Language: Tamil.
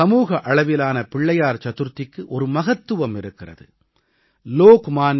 இந்த முறை சமூக அளவிலான பிள்ளையார் சதுர்த்திக்கு ஒரு மகத்துவம் இருக்கிறது